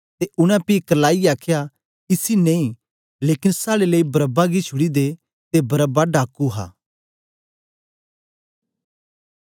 ते उनै पी करलाईयै आखया इसी नेई लेकन साड़े लेई बरअब्बा गी छुड़ी दे ते बरअब्बा डाकू हा